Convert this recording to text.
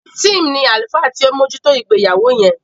Tim ní àlùfáà tí o bojuto ìgbéyàwó yén